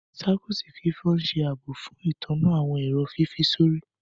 Circuit fífọ ṣe ààbò fún ìtanná àwọn èrò fífi sórí.